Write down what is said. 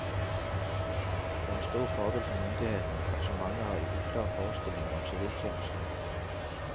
Det er en stor fordel for myndighetene at så mange har uklare forestillinger om siviltjenesten.